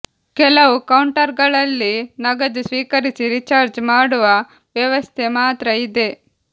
ಕೆಲವು ಕೌಂಟರ್ಗಳಲ್ಲಿ ನಗದು ಸ್ವೀಕರಿಸಿ ರಿಚಾರ್ಜ್ ಮಾಡುವ ವ್ಯವಸ್ಥೆ ಮಾತ್ರ ಇದೆ